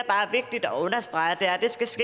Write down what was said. vigtigt at understrege er